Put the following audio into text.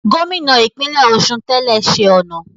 Gómìnà ìpínlẹ̀ Ọ̀ṣun tẹ́lẹ̀ ṣe ọ̀nà